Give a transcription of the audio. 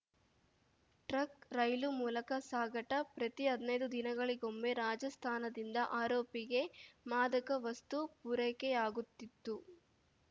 truck ರೈಲು ಮೂಲಕ ಸಾಗಾಟ ಪ್ರತಿ ಹದ್ನೈದು ದಿನಗಳಿಗೊಮ್ಮೆ ರಾಜಸ್ಥಾನದಿಂದ ಆರೋಪಿಗೆ ಮಾದಕ ವಸ್ತು ಪೂರೈಕೆಯಾಗುತ್ತಿತ್ತು